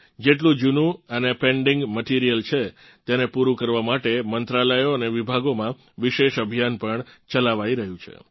જેટલું જૂનું અને પેન્ડિગ મટીરીઅલ છે તેને પૂરું કરવાં માટે મંત્રાલયો અને વિભાગોમાં વિશેષ અભિયાન પણ ચલાવાઇ રહ્યું છે